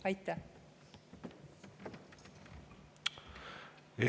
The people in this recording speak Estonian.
Aitäh!